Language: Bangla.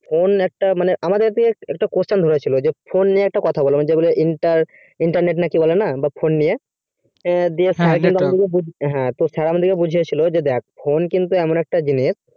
phone একটা মানে আমাদের কে একটা questions দরে ছিলো যে phone নিয়ে একটা কথা যেগুলো inter internet না কি বলেনা phone নিয়ে হ্যাঁ তো sir আমাদেরকে বুঝিয়েছিল দ্যাখ phone এমন একটা জিনিস